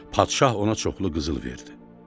Padşah ona çoxlu qızıl verdi.